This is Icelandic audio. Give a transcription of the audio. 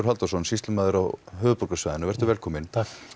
Halldórsson sýslumaður á höfuðborgarsvæðinu velkominn